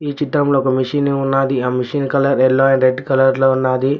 ఈ చిత్రంలో ఒక మెషిని ఉన్నాది ఆ machine colour yellow and red colour లో ఉన్నాది.